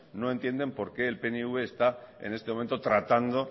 no entienden por qué el pnv está en este momento tratando